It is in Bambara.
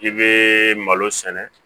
I bɛ malo sɛnɛ